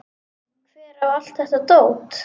Hver á allt þetta dót?